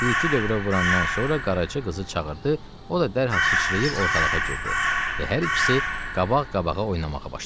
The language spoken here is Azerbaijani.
Bir-iki dövrə vurandan sonra Qaraca qızı çağırdı, o da dərhal sıçrayıb ortalığa girdi və hər ikisi qabaq-qabağa oynamağa başladı.